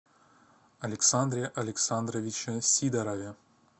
александре александровиче сидорове